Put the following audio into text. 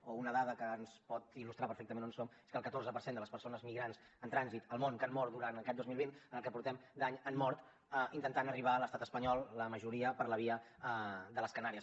o una dada que ens pot il·lustrar perfectament on som és que el catorze per cent de les persones migrants en trànsit al món que han mort durant aquest dos mil vint en el que portem d’any han mort intentant arribar a l’estat espanyol la majoria per la via de les canàries